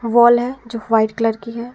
Wall है जो white colour की है।